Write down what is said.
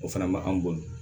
O fana ma an bolo